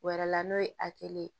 O wɛrɛ la n'o ye ye